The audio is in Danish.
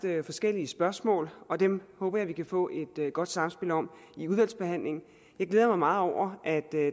forskellige spørgsmål og dem håber jeg at vi kan få et godt samspil om i udvalgsbehandlingen jeg glæder mig meget over at